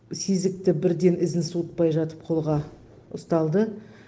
сезікті бірден ізін суытпай жатып қолға ұсталды